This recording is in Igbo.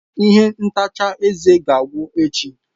Ihe ntacha eze ga-agwụ echi.